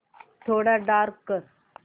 थोडा डार्क कर